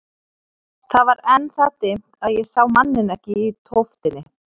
Það var enn það dimmt að ég sá manninn ekki í tóftinni.